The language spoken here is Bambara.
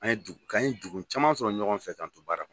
An ye dugu k'an ye dugu caman sɔrɔ ɲɔgɔn fɛ k;an to baara la.